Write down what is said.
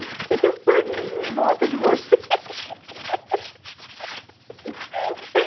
Você tem um paninho em volta de você